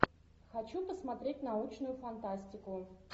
хочу посмотреть научную фантастику